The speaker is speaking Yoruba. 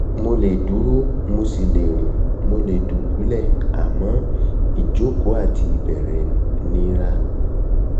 mo lè dúró mo sì le rìn mo lè dùbúlẹ̀ àmọ́ ìjókòó àti àti ìbẹ̀rẹ̀ nira